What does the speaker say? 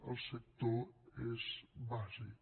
el sector és bàsic